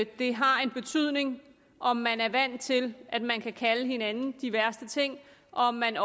det har en betydning om man er vant til at man kan kalde hinanden de værste ting og om man